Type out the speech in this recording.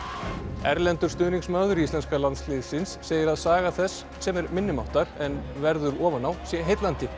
erlendur stuðningsmaður íslenska landsliðsins segir að saga þess sem er minnimáttar en verður ofan á sé heillandi